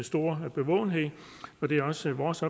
store bevågenhed og det er også vores